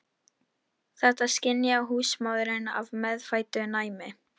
Þetta skynjaði húsmóðirin af meðfæddu næmi.